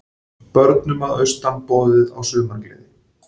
Börnum að austan boðið á sumargleði